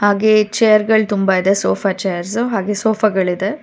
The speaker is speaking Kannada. ಹಾಗೆಯೇ ಚೇರ್ಗಳ್ ತುಂಬಾ ಇದೆ ಸೋಫಾ ಚೇರ್ಸ್ ಹಾಗೆ ಸೋಫಾಗಳಿದೆ.